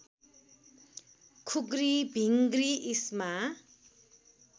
खुग्री भिङ्गृ इष्मा